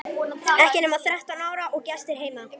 Ekki nema þrettán ára og gestir heima!